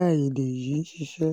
a yi de yi sise